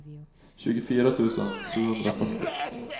tjugofyra tusen sjuhundrafyrtio